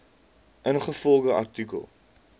ingevolge artikel